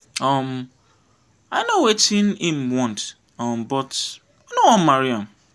um i know wetin im want um but i no wan marry am.